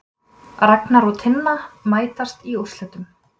Ragna og Tinna mætast í úrslitum